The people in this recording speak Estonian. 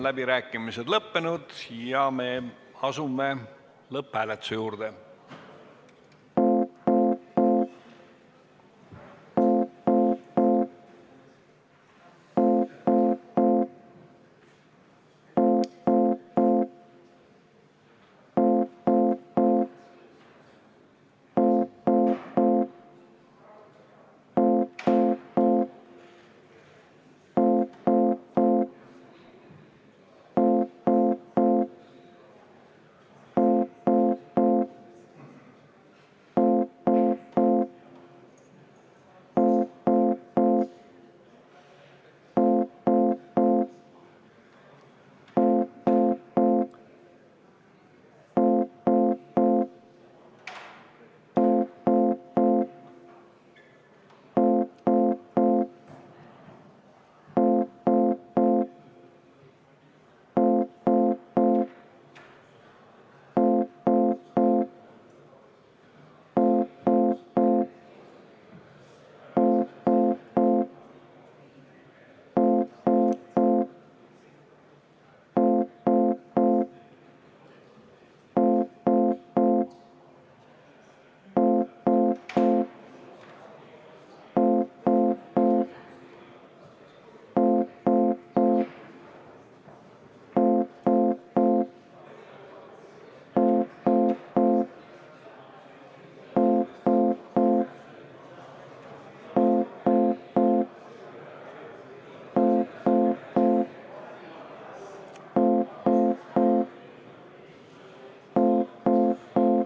Läbirääkimised on lõppenud ja me asume lõpphääletuse juurde.